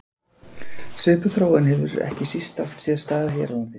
Svipuð þróun hefur ekki síst átt sér stað hér á landi.